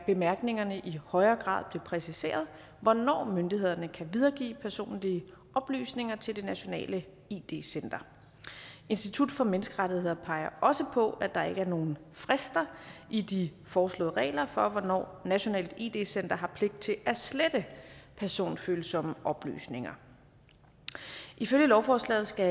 bemærkningerne i højere grad blev præciseret hvornår myndighederne kan videregive personlige oplysninger til nationalt id id center institut for menneskerettigheder peger også på at der ikke er nogen frister i de foreslåede regler for hvornår nationalt id center har pligt til at slette personfølsomme oplysninger ifølge lovforslaget skal